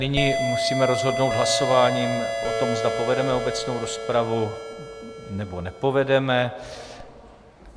Nyní musíme rozhodnout hlasováním o tom, zda povedeme obecnou rozpravu, nebo nepovedeme.